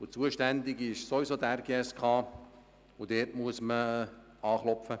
Zuständig ist sowieso die RGSK, und dort muss man anklopfen.